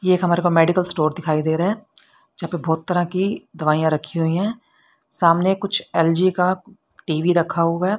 यह एक हमारे को मेडिकल स्टोर दिखाई दे रहा है यहां पे बहुत तरह की दवाइयां रखी हुई हैं सामने कुछ एल_जी का टी_वी रखा हुआ है।